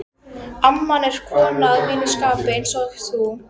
amman er kona að mínu skapi, einsog þú.